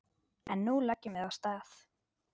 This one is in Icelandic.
En nú leggjum við af stað!